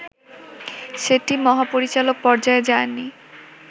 সেটি মহাপরিচালক পর্যায়ে যায়নি